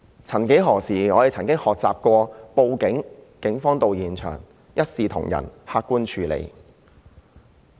曾幾何時，我們學習報警，在警員到場後便會一視同仁、客觀地處理。